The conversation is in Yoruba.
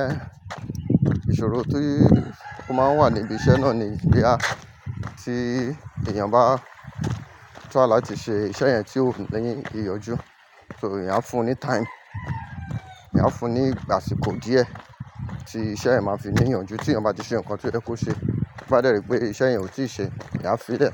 Ẹn, ìṣòro tí ó máa ń wà níbi iṣẹ́ náà ni bí à tí èèyàn bá try láti ṣe iṣẹ́ yẹn tí ó n ní ìyànjú, so iyán fún ní time ìyán fún ní ìgbà síkò díẹ̀ tí iṣẹ́ yẹn máa fi ní ìyànjú tí èèyàn bá ti ṣe nǹkan to yẹ kó ṣe bá dẹ̀ rí pé iṣẹ́ yẹn ò tí ì ṣe eyán f'ìlẹ̀